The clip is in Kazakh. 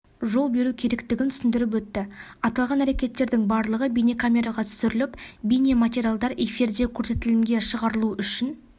жол беру керектігін түсіндіріп өтті аталған әрекеттердің барлығы бейнекамераға түсіріліп бейнематериалдар эфирде көрсетілімге шығарылуы үшін